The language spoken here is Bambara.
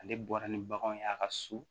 Ale bɔra ni baganw ye a ka so